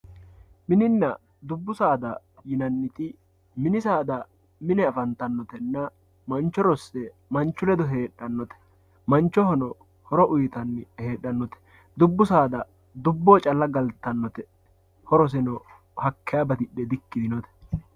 mininna dubbu saada yiannit, mini saada yaa mine afantannotenna mancho rossinote manchu ledo geedhannote, manchohono horo uytannote, dubbu saada dubboho calla heedhannote woy galtannote horoseno hakkeeya batidhe diyitinote .